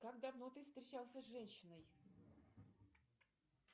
как давно ты встречался с женщиной